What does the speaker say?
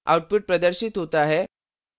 output प्रदर्शित होता है: